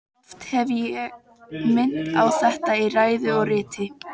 Oft hef ég minnt á þetta í ræðu og riti.